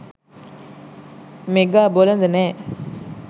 mega බොළඳ නෑ